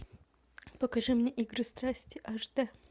покажи мне игры страсти аш дэ